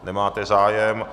Nemáte zájem.